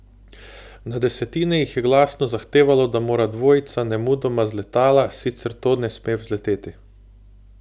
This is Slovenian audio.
Na desetine jih je glasno zahtevalo, da mora dvojica nemudoma z letala, sicer to ne sme vzleteti.